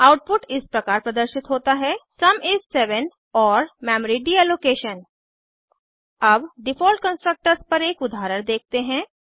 output इस प्रकार प्रदर्शित होता है सुम इस 7 और मेमोरी डीलोकेशन अब डिफ़ॉल्ट कंस्ट्रक्टर्स पर एक उदाहरण देखते हैं